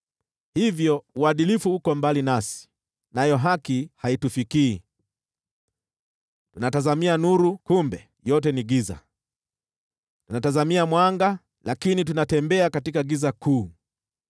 Hivyo uadilifu uko mbali nasi, nayo haki haitufikii. Tunatazamia nuru, kumbe! Yote ni giza, tunatazamia mwanga, lakini tunatembea katika giza kuu.